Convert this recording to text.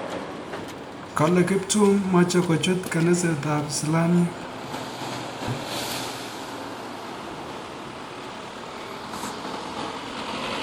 Kole kiptum meche kochut kansier ab islamiec.